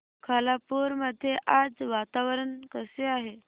खालापूर मध्ये आज वातावरण कसे आहे